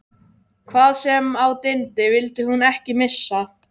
Hvað sem á dyndi vildi hún ekki missa